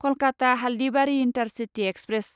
Kolkata Haldibari intercity express